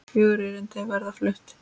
Fjögur erindi verða flutt.